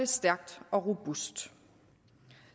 stærkt og robust